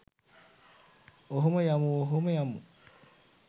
ඔහොම යමු ඔහොම යමු.